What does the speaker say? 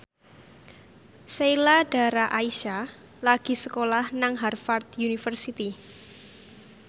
Sheila Dara Aisha lagi sekolah nang Harvard university